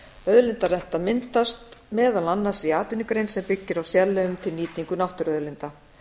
auðlindarenta myndast meðal annars í atvinnugrein sem byggir á sérleyfum til nýtingu náttúruauðlinda